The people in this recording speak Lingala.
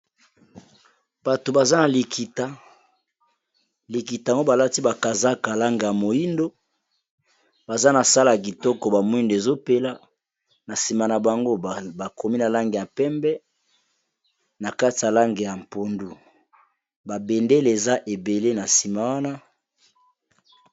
Bato baza na likita likita ngo balati bakazaka langi ya moyindo baza na sale ya kitoko ba mwind'ezopela na sima na bango bakomi na langi ya pembe na kati ya langi ya mpondu ba bendele eza ebele na sima wana.